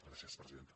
gràcies presidenta